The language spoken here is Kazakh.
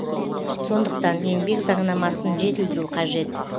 сондықтан еңбек заңнамасын жетілдіру қажет